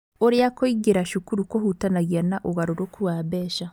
ũrĩa kũingĩra cukuru kũhutanagia na ũgarũrũku wa mbeca.